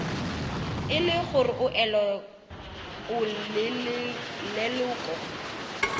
e le gore o leloko